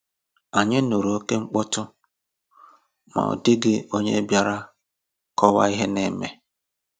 Ànyị nụrụ okémkpọtụ, ma ọ dị̀ghị onye bịàrà kọ̀waa ihe na-eme